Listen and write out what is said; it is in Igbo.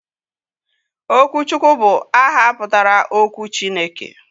Okwuchukwu bu aha putara 'okwu Chineke'